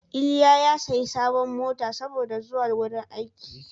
Iliya ya sayi sabuwar mota saboda zuwa wrin aiki.